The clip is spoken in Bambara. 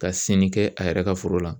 Ka senni kɛ a yɛrɛ ka foro la